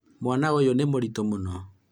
mwana ũyũ nĩ mũritũ mũno